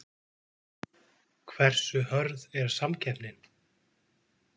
Hversu hörð er samkeppnin?